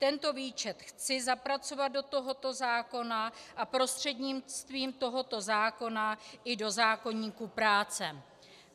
Tento výčet chci zapracovat do tohoto zákona a prostřednictvím tohoto zákona i do zákoníku práce.